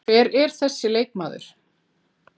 Hver er þessi leikmaður?